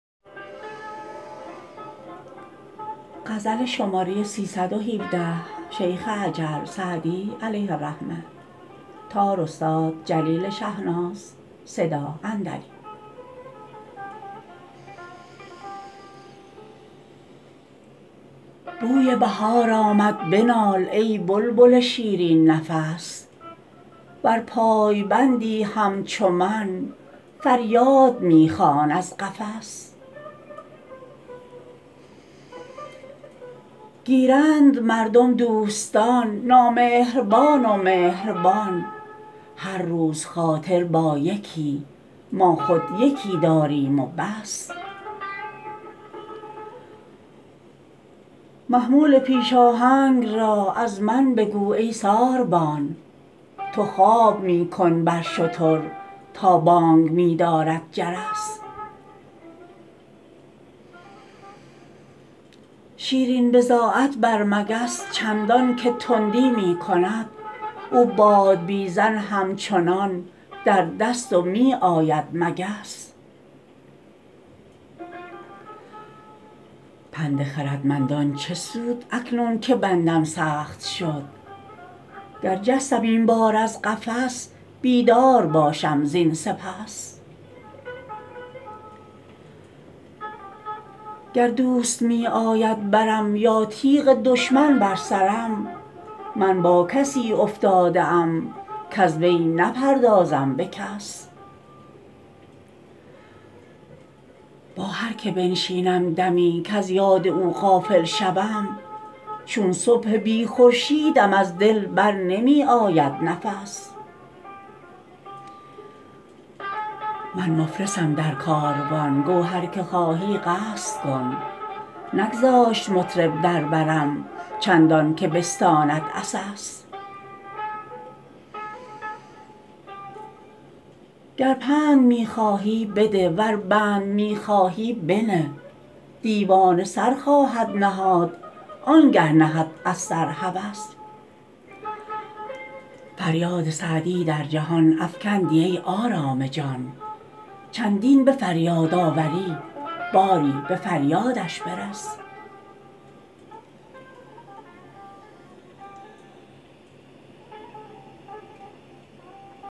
بوی بهار آمد بنال ای بلبل شیرین نفس ور پایبندی همچو من فریاد می خوان از قفس گیرند مردم دوستان نامهربان و مهربان هر روز خاطر با یکی ما خود یکی داریم و بس محمول پیش آهنگ را از من بگو ای ساربان تو خواب می کن بر شتر تا بانگ می دارد جرس شیرین بضاعت بر مگس چندان که تندی می کند او بادبیزن همچنان در دست و می آید مگس پند خردمندان چه سود اکنون که بندم سخت شد گر جستم این بار از قفس بیدار باشم زین سپس گر دوست می آید برم یا تیغ دشمن بر سرم من با کسی افتاده ام کز وی نپردازم به کس با هر که بنشینم دمی کز یاد او غافل شوم چون صبح بی خورشیدم از دل بر نمی آید نفس من مفلسم در کاروان گو هر که خواهی قصد کن نگذاشت مطرب در برم چندان که بستاند عسس گر پند می خواهی بده ور بند می خواهی بنه دیوانه سر خواهد نهاد آن گه نهد از سر هوس فریاد سعدی در جهان افکندی ای آرام جان چندین به فریاد آوری باری به فریادش برس